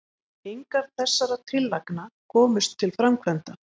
engar þessara tillagna komust til framkvæmda